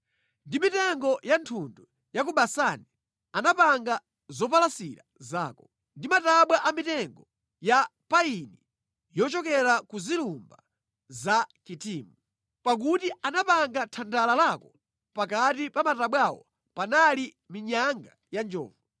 Ndi mitengo ya thundu ya ku Basani anapanga zopalasira zako; ndi matabwa a mitengo ya payini yochokera ku zilumba za Kitimu. Pakuti anapanga thandala lako pakati pa matabwawo panali minyanga ya njovu.